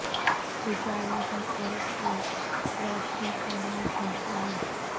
اجالے ہر طرف ہوں روشنی کا نام ہو جائے